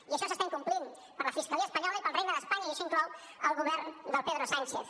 i això s’està incomplint per la fiscalia espanyola i pel regne d’espanya i això inclou el govern del pedro sánchez